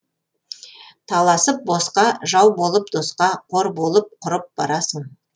таласып босқа жау болып досқа қор болып құрып барасың